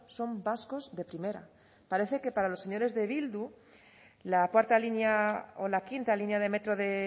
son vascos de primera parece que para los señores de bildu la cuarta línea o la quinta línea de metro de